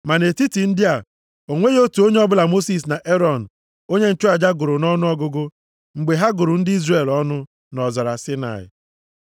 Ma nʼetiti ndị a, o nweghị otu onye ọbụla Mosis na Erọn onye nchụaja gụrụ nʼọnụọgụgụ mgbe ha gụrụ ndị Izrel ọnụ nʼọzara Saịnaị.